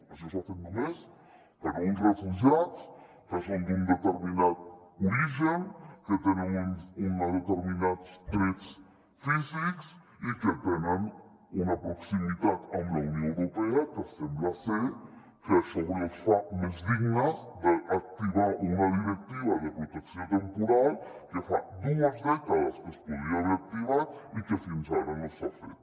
això s’ha fet només per a uns refugiats que són d’un determinat origen que tenen uns determinats trets físics i que tenen una proximitat amb la unió europea que sembla ser que això els fa més dignes d’activar una directiva de protecció temporal que fa dues dècades que es podria haver activat i que fins ara no s’ha fet